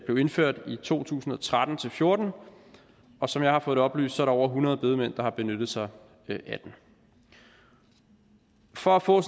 blev indført i to tusind og tretten til fjorten og som jeg har fået oplyst er der over hundrede bedemænd der har benyttet sig af den for at få